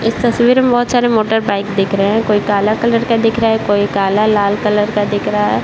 इस तस्वीर मे बहुत सारे मोटरबाइक दिख रहे है कोई काला कलर का दिख रहा है कोई काला लाल कलर का दिख रहा है ।